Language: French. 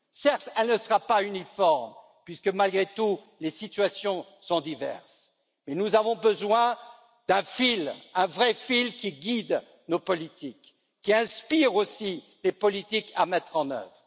Certes, elle ne sera pas uniforme puisque, malgré tout, les situations sont diverses, mais nous avons besoin d'un fil, un vrai fil qui guide nos politiques, qui inspire aussi les politiques à mettre en œuvre.